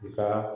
U ka